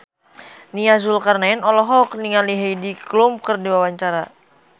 Nia Zulkarnaen olohok ningali Heidi Klum keur diwawancara